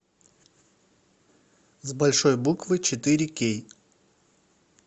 с большой буквы четыре кей